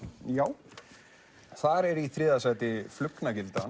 já þar er í þriðja sæti